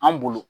An bolo